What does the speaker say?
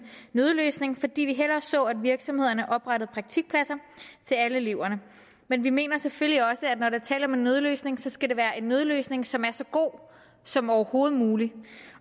nødløsning fordi vi hellere så at virksomhederne oprettede praktikpladser til alle eleverne men vi mener selvfølgelig også at når der er tale om en nødløsning skal det være en nødløsning som er så god som overhovedet muligt